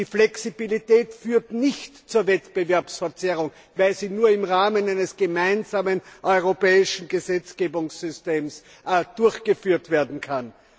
Die Flexibilität führt nicht zu Wettbewerbsverzerrungen, weil sie nur im Rahmen eines gemeinsamen europäischen Gesetzgebungssystems durchgeführt werden kann.